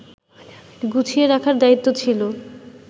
গুছিয়ে রাখার দায়িত্ব ছিল